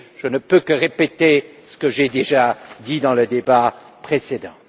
Je ne peux que répéter ce que j'ai déjà dit dans le débat précédent.